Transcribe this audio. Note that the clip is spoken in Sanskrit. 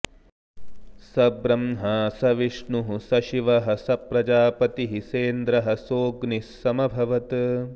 स ब्रह्मा स विष्णुः स शिवः स प्रजापतिः सेन्द्रः सोऽग्निः समभवत्